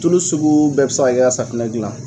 Tulu sugu bɛɛ be se ka kɛ ka safunɛ gilan.